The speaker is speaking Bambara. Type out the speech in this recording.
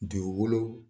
Dugukolo